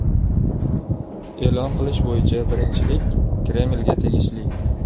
E’lon qilish bo‘yicha birinchilik Kremlga tegishli.